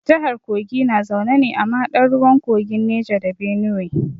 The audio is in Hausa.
Jahar kogi na zaune ne a mahaɗar ruwan kogin Neja da Benuwe.